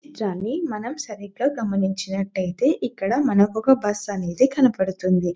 దాని మనం సరిగ్గ గమనించినట్లయితే మనకి ఒక బస్సు అనేది కనబడుతుంది.